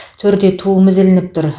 төрде туымыз ілініп тұр